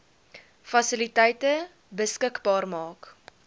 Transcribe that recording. fasiliteite beskikbaar maak